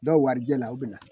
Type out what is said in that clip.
Dɔw warijɛla u bɛ na